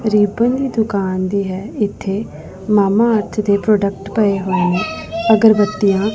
ribbon ਦੀ ਦੁਕਾਨ ਦੀ ਹੈ ਇੱਥੇ ਮਾਮਾ ਅਰਥ ਦੇ ਪ੍ਰੋਡਕਟ ਪਏ ਹੋਏ ਨੇਂ ਅਗਰਬੱਤੀਆਂ --